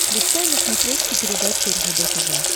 включай на смотрешке передачу ржд тв